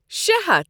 شےٚ ہتھَ